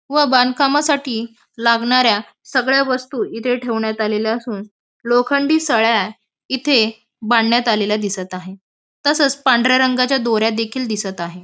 व बांधकामासाठी लागणाऱ्या सगळ्या वस्तू इथे ठेवण्यात आलेल्या असून लोखंडी सळया येथे बांधण्यात आलेल्या दिसत आहे. तसंच पांढऱ्या रंगाच्या दोऱ्या देखील दिसत आहे.